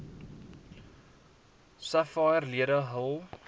sapphire lede hul